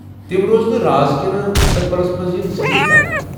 تم روزنہٕ راز کِنہٕ مٗستقبِلس منٛز ین ظٲہر کرنہٕ؟